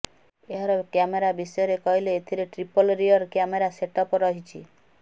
ଏହାର କ୍ୟାମେରା ବିଷୟରେ କହିଲେ ଏଥିରେ ଟ୍ରିପଲ ରିୟର କ୍ୟାମେରା ସେଟଅପ୍ ରହିଛି